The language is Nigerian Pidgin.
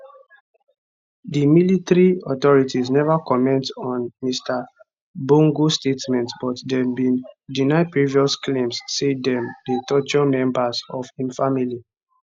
di military authorities neva comment on mr bongo statement but dem bin deny previous claims say dem dey torture members of im family